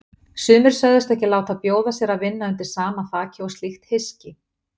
Sumir sögðust ekki láta bjóða sér að vinna undir sama þaki og slíkt hyski.